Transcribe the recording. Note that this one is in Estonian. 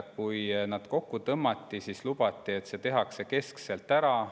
Kui need kokku tõmmati, siis lubati, et see tehakse keskselt ära.